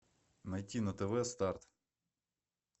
найти на тв старт